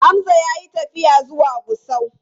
Hamza ya yi tafiya zuwa Gusau.